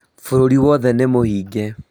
Bũrũri wothe nĩmũhinge